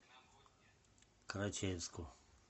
карачаевску